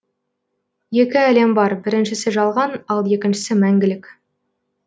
екі әлем бар біріншісі жалған ал екіншісі мәңгілік